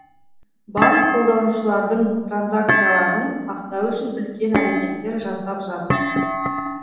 банк қолданушылардың транзакцияларын сақтау үшін үлкен әрекеттер жасап жатыр